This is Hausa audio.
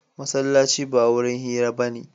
Masallaci ba wurin hira ba ne.